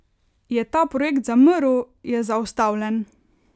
Je ta projekt zamrl, je zaustavljen?